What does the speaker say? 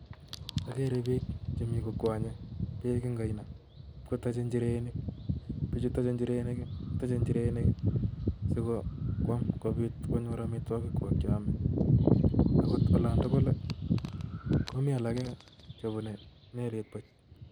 Akere biik cheminye kokwonye beek eng aino kotochi njirenik .Biik chuto chu tochi njirenik kotochi njirenik sikonyor amitwogik kwai cheome, akot olan tugul komi alake chebune melit buch.